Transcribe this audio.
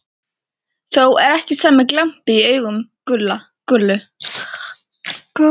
Þó er ekki sami glampi í augum Gullu